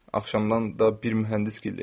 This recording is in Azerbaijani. Axşamdan da bir mühəndis gildəydim.